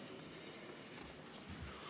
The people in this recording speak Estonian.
Aitäh!